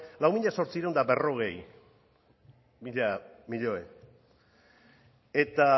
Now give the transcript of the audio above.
mila zortziehun eta berrogei mila milioi eta